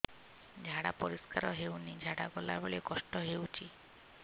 ଝାଡା ପରିସ୍କାର ହେଉନି ଝାଡ଼ା ଗଲା ବେଳେ କଷ୍ଟ ହେଉଚି